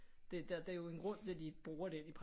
Der er jo en grund til at de bruger den i